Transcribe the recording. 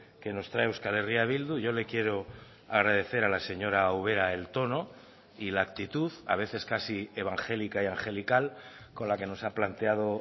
que nos trae euskal herria bildu yo le quiero agradecer a la señora ubera el tono y la actitud a veces casi evangélica y angelical con la que nos ha planteado